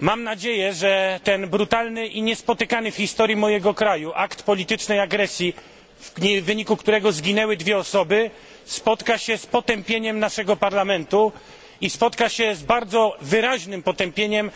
Mam nadzieję, że ten brutalny i niespotykany w historii mojego kraju akt politycznej agresji, w wyniku którego zginęły dwie osoby, spotka się z potępieniem Parlamentu i z bardzo wyraźnym potępieniem